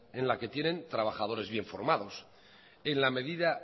en la que tienen trabajadores bien formados en la medida